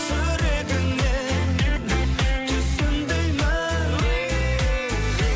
жүрегіңмен түсін деймін